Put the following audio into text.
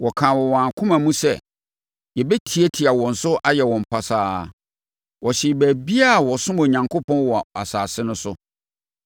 Wɔkaa wɔ wɔn akoma mu sɛ, “Yɛbɛtiatia wɔn so ayɛ wɔn pasaa!” Wɔhyee baabiara a wɔsom Onyankopɔn wɔ asase no so.